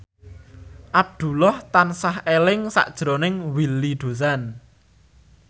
Abdullah tansah eling sakjroning Willy Dozan